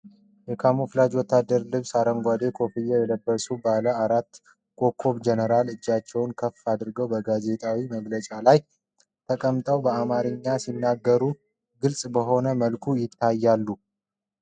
የካሞፍላጅ ወታደራዊ ልብስና አረንጓዴ ኮፍያ የለበሱ ባለ አራት ኮከብ ጀነራል፣ እጃቸውን ከፍ አድርገው በጋዜጣዊ መግለጫ ላይ ተቀምጠው በአማርኛ ሲናገሩ ግልጽ በሆነ መልኩ ይታያሉ።